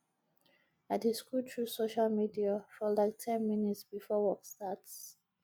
i dey scroll through social media for like ten minutes before work starts